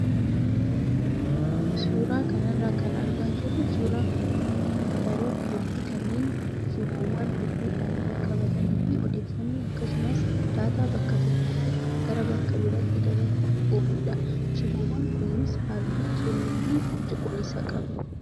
Suuraa kanarraa kan argaa jirru suuraa kompiitaroota hedduu kanneen shiboowwan hedduudhaan wal qabatanii fi odeeffannoo akkasumas daataa bakka tokkoo gara bakka biraatti dabarsuuf ooludha. Shiboowwan kunis halluu keeloo fi cuquliisa qabu.